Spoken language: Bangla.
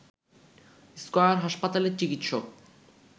স্কয়ার হাসপাতালের চিকিৎসক